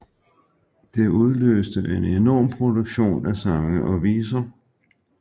Det udløste en enorm produktion af sange og viser